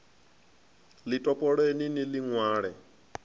ḽi topoleni ni ḽi ṅwale